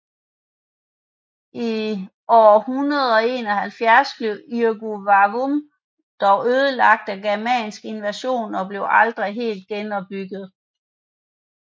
I år 171 blev Iuvavum dog ødelagt af en germansk invasion og blev aldrig helt genopbygget